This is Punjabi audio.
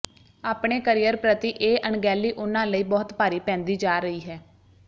ਆਪਣੇ ਕਰੀਅਰ ਪ੍ਰਤੀ ਇਹ ਅਣਗਹਿਲੀ ਉਨ੍ਹਾਂ ਲਈ ਬਹੁਤ ਭਾਰੀ ਪੈਂਦੀ ਜਾ ਰਹੀ ਹੈ